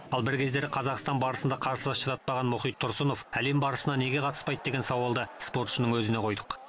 ал бір кездері қазақстан барысында қарсылас шыдатпаған мұхит тұрсынов әлем барысына неге қатыспайды деген сауалды спортшының өзіне қойдық